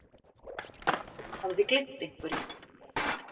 Hafði gleymt einhverju.